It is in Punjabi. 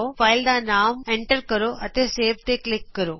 ਫਾਈਲ ਦਾ ਨਾਮ ਪਾਉ ਅਤੇ ਸੇਵ ਤੇ ਕਲਿਕ ਕਰੋ